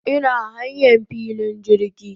Ina hanyan filin jirgi